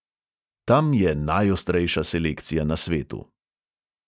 Tam je najostrejša selekcija na svetu.